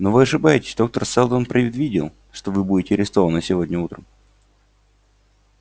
но вы ошибаетесь доктор сэлдон предвидел что вы будете арестованы сегодня утром